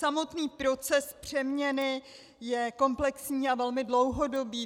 Samotný proces přeměny je komplexní a velmi dlouhodobý.